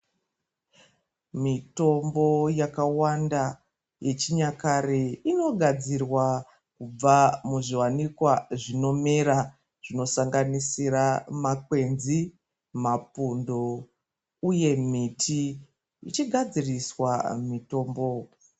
Mitombo yakawanda yechinyakare inogadzirwa kubva muzviwanikwa zvinomera zvinosanganisira makwenzi mapundo uye miti ichigadziriswa mitombo.